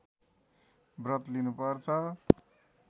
व्रत लिनु पर्छ